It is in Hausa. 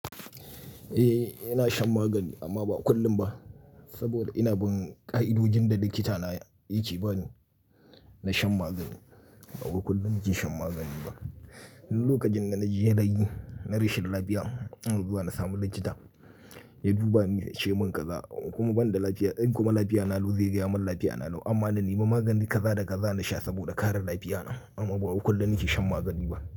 Eh ina shan magani amma ba kullum ba saboda ina bin ka'idojin da likita na yake ba ni na shan magani. Ba wai kullum nake shan magani ba. Ni lokacin da na ji yanayi na rashin lafiya, ina zuwa na sami likita ya duba ni ya ce min kaza in kuma ban da lafiya. In kuma lafiya na lau zai gaya mun lafiya na lau amma na nema magani kaza da kaza na sha saboda kare lafiya na amma ba wai kullum nake shan magani ba.